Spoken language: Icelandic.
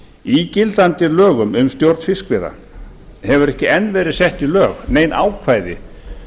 í gildandi lögum um stjórn fiskveiða hafa ekki enn verið sett í lög nein ákvæði